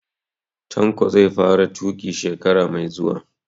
Tanko zai fara tuƙi shekara mai zuwa